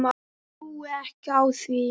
Trúi ekki á það.